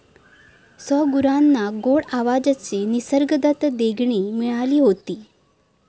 सौगुरांना गोड आवाजाची निसर्गदत्त देणगी मिळाली होती.